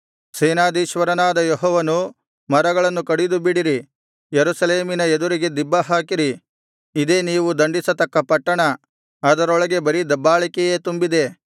ಸೇನಾಧೀಶ್ವರನಾದ ಯೆಹೋವನು ಮರಗಳನ್ನು ಕಡಿದುಬಿಡಿರಿ ಯೆರೂಸಲೇಮಿನ ಎದುರಿಗೆ ದಿಬ್ಬಹಾಕಿರಿ ಇದೇ ನೀವು ದಂಡಿಸತಕ್ಕ ಪಟ್ಟಣ ಅದರೊಳಗೆ ಬರೀ ದಬ್ಬಾಳಿಕೆಯೇ ತುಂಬಿದೆ